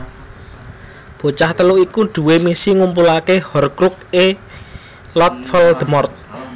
Bocah telu iku duwé misi ngumpulake Horcrux e Lord Voldemort